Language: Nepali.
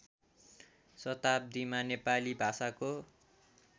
शताब्दीमा नेपाली भाषाको